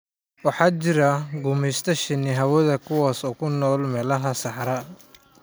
Waxaa jira guumaysta shinni hawada, kuwaas oo ku nool meelaha saxaraha ah.